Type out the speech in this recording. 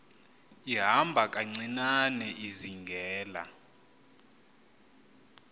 ihamba kancinane izingela